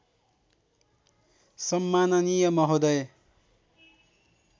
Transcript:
सम्माननीय महोदय